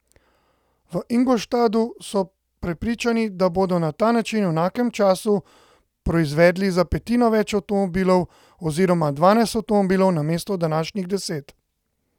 V Ingolstadtu so prepričani, da bodo na ta način v enakem času proizvedli za petino več avtomobilov, oziroma dvanajst avtomobilov namesto današnjih deset.